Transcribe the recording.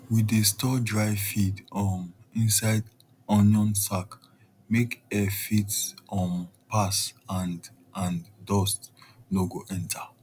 we dey store dry feed um inside onion sack make air fit um pass and and dust no go enter